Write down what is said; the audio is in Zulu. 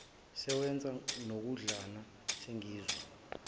sewenza nokudlana sengizwa